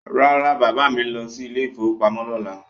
No, my father is going to the bank tomorrow